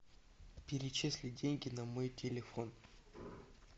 перечислить деньги на мой телефон